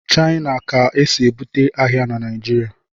China ka esi ebubata ahịa na Naijiria